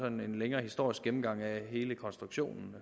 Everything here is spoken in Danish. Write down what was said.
en længere historisk gennemgang af hele konstruktionen